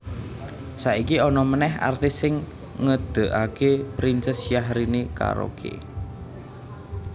Saiki ono meneh artis sing ngedegake Princess Syahrini Karaoke